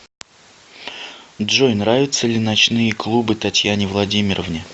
джой нравятся ли ночные клубы татьяне владимировне